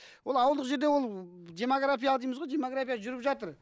ол ауылдық жерде ол демография дейміз ғой демография жүріп жатыр